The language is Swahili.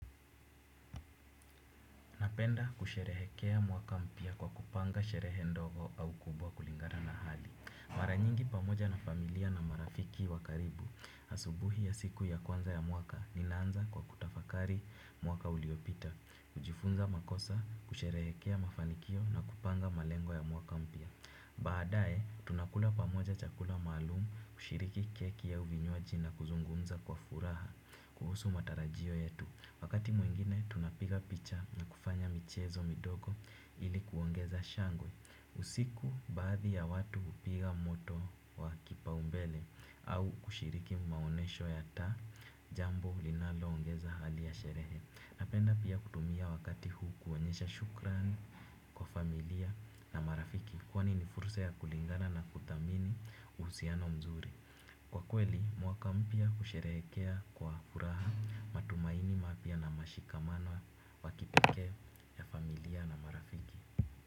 Napenda kusherehekea mwaka mpya kwa kupanga sherehe ndogo au kubwa kulingana na hali mara nyingi pamoja na familia na marafiki wa karibu. Asubuhi ya siku ya kwanza ya mwaka, ninaanza kwa kutafakari mwaka uliopita. Kujifunza makosa, kusherehekea mafanikio na kupanga malengo ya mwaka mpya. Baadaye, tunakula pamoja chakula maalum, kushiriki keki au vinywaji na kuzungumza kwa furaha, kuhusu matarajio yetu. Wakati mwingine tunapiga picha na kufanya michezo midogo ili kuongeza shangwe. Usiku baadhi ya watu hupiga moto wa kipaumbele, au kushiriki maonesho ya taa. Jambo linalo ongeza hali ya sherehe. Napenda pia kutumia wakati huu kuonyesha shukrani kwa familia na marafiki kwani ni fursa ya kulingana na kuthamini uhusiano mzuri. Kwa kweli, mwaka mpya husherekea kwa furaha matumaini mapya na mashikamano wa kipekee ya familia na marafiki.